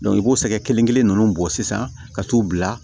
i b'o sɛgɛn kelen kelen ninnu bɔ sisan ka t'u bila